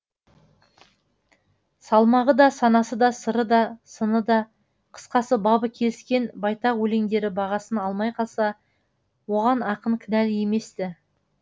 салмағы да санасы да сыры да сыны да қысқасы бабы келіскен байтақ өлеңдері бағасын алмай қалса оған ақын кінәлі емес ті